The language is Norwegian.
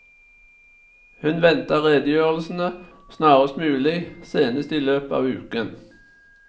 Hun venter redegjørelsene snarest mulig, senest i løpet av uken.